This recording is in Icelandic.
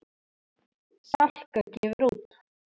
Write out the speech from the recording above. Salka gefur út.